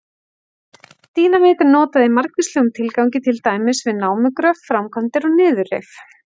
Dínamít er notað í margvíslegum tilgangi, til dæmis við námugröft, framkvæmdir og niðurrif.